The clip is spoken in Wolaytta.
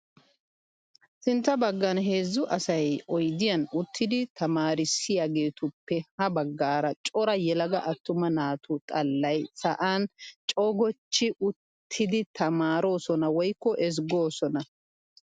Sintta baggan heezzu asayi oyidiyaan uttidi tamaarissiyaageetuppe ha baggaara cora yelaga attuma naatu xallayi sa'an cogochchi uttidi tamaarosona woyikko ezggoosona.